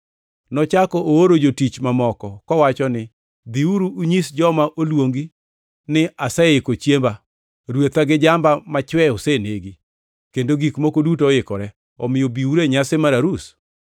“Nochako ooro jotich mamoko, kowacho ni, ‘Dhiuru unyis joma noluongi ni aseiko chiemba: Rwetha gi jamba machwe osenegi, kendo gik moko duto oikore. Omiyo biuru e nyasi mar arus.’